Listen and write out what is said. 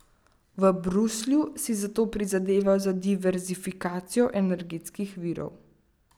V Bruslju si zato prizadevajo za diverzifikacijo energetskih virov.